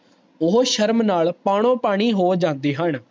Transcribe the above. ਓਹੋ ਸ਼ਰਮ ਨਾਲ ਪਨੋ ਪਾਣੀ ਹੋ ਜਾਂਦੇ ਹਨ